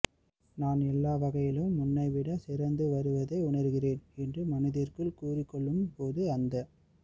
நான் எல்லா வகையிலும் முன்னை விட சிறந்து வருவதை உணர்கிறேன் என்று மனதிற்குள் கூறிக் கொள்ளும் போது அந்த